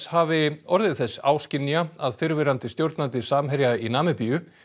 hafi orðið þess áskynja að fyrrverandi stjórnandi Samherja í Namibíu